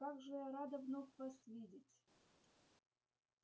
как же я рада вновь вас видеть